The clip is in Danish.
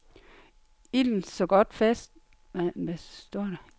Ilden så godt fat i kroen, at der intet var at stille op.